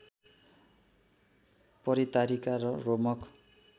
परितारिका र रोमक